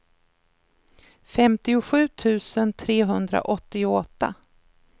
femtiosju tusen trehundraåttioåtta